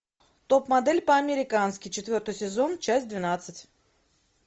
топ модель по американски четвертый сезон часть двенадцать